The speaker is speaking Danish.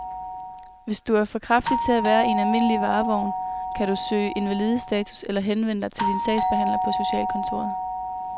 Hvis du er for kraftig til at være i en almindelig varevogn, kan du kan søge invalidestatus eller henvende dig til din sagsbehandler på socialkontoret.